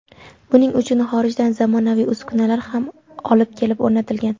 Buning uchun xorijdan zamonaviy uskunalar olib kelib o‘rnatilgan.